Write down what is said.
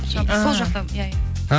сол жақта иә иә